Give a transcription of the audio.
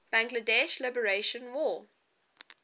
bangladesh liberation war